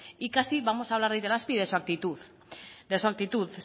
y casi vamos a hablar de itelazpi de su actitud de su actitud